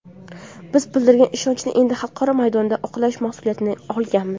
Biz bildirilgan ishonchni endi xalqaro maydonda oqlash mas’uliyatini olganmiz.